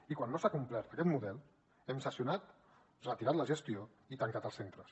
i quan no s’ha complert aquest model hem sancionat retirat la gestió i tancat els centres